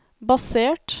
basert